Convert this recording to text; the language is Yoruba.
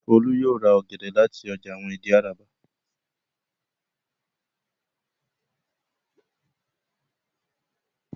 Folú yóò ra àwọn ọ̀gẹ̀dẹ̀ láti ọjà Ìdí-Àràbà.